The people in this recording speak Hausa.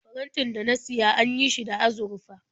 Farantin da na siya an yi shi da azurfa.